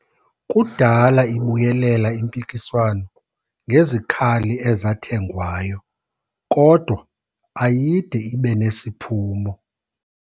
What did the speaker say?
Kudala ibuyelela impikiswano ngezikhali ezathengwayo kodwa ayide ibe nesiphumo.